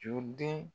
Joden